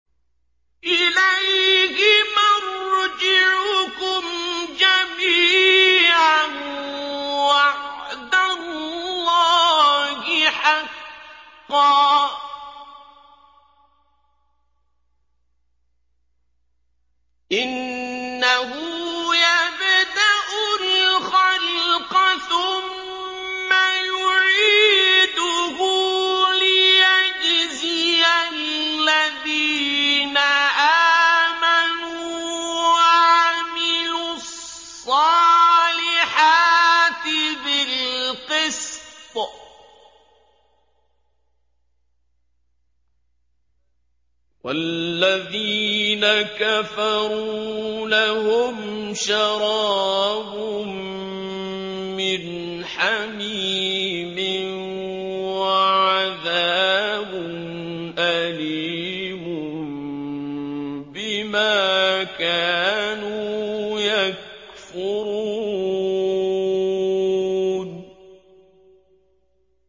إِلَيْهِ مَرْجِعُكُمْ جَمِيعًا ۖ وَعْدَ اللَّهِ حَقًّا ۚ إِنَّهُ يَبْدَأُ الْخَلْقَ ثُمَّ يُعِيدُهُ لِيَجْزِيَ الَّذِينَ آمَنُوا وَعَمِلُوا الصَّالِحَاتِ بِالْقِسْطِ ۚ وَالَّذِينَ كَفَرُوا لَهُمْ شَرَابٌ مِّنْ حَمِيمٍ وَعَذَابٌ أَلِيمٌ بِمَا كَانُوا يَكْفُرُونَ